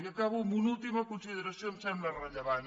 i acabo amb una última consideració que em sembla rellevant